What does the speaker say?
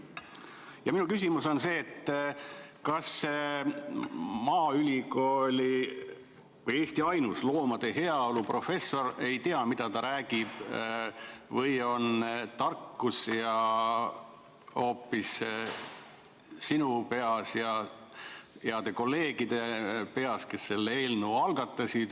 Ja minu küsimus on selline: kas see maaülikooli või Eesti ainus loomade heaolu professor ei tea, mida ta räägib, või on tarkus hoopis sinu peas ja heade kolleegide peas, kes selle eelnõu algatasid?